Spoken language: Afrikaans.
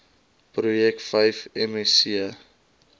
projek vyf msc